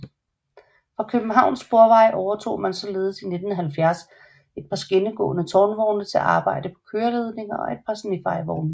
Fra Københavns Sporveje overtog man således i 1970 et par skinnegående tårnvogne til arbejde på køreledninger og et par snefejevogne